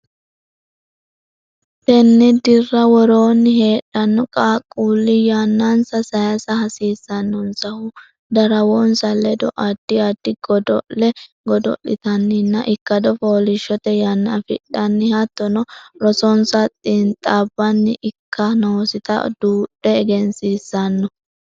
Tenne dirra worroonni heedhanno qaaqquulli yannansa saysa hasiissannonsahu darawonsa ledo addi addi godo le godo litanninna ikkado fooliishshote yanna afidhanni hattono rosonsa xiinxaabbanni ikka noosita duudhe egensiissanno.